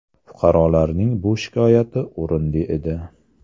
Fuqarolarning bu shikoyati o‘rinli edi.